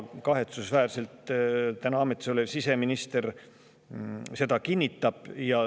Praegu ametis olev siseminister seda ka kahetsusväärselt kinnitab.